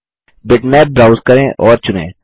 bitmap browse करें और चुनें